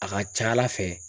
A ka ca ala fɛ.